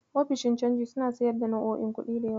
Ofishin canji suna siyar da nau'o'in kuɗi da yawa.